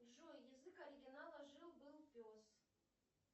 джой язык оригинала жил был пес